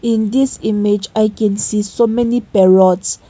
in this image i can see so many parrots.